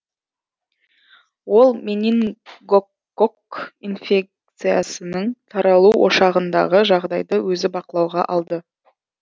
ол менингококк инфекциясының таралу ошағындағы жағдайды өзі бақылауға алды